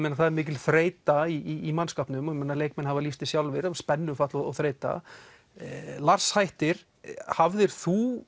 það er mikil þreyta í mannskapnum og leikmenn hafa lýst því sjálfir spennufall og þreyta Lars hættir hafðir þú